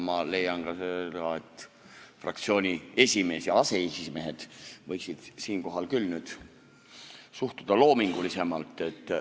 Ma leian ka seda, et fraktsiooni esimees ja aseesimehed võiksid siinkohal küll suhtuda loomingulisemalt.